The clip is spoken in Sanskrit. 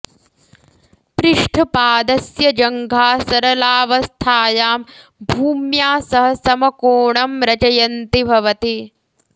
पृष्ठपादस्य जङ्घा सरलावस्थायां भूम्या सह समकोणं रचयन्ति भवति